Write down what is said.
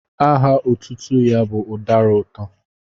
Aha otutu ya bu udara uto.